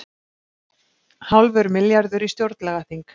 Hálfur milljarður í stjórnlagaþing